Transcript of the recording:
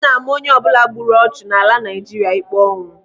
Ana-ama onyeọbụla gburu ọchụ n'ala Naijiria ikpe ọnwụ.